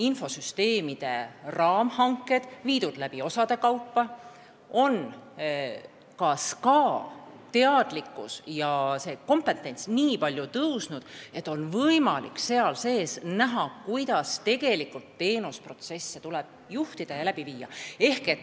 Infosüsteemide raamhanked on läbi viidud osade kaupa, ka on SKA teadlikkus ja kompetents nii palju paranenud, et on võimalik mõista, kuidas tegelikult teenusprotsessi tuleb juhtida ja läbi viia.